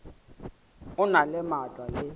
o na le maatla le